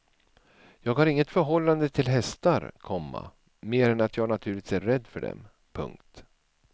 Jag har inget förhållande till hästar, komma mer än att jag naturligtvis är rädd för dem. punkt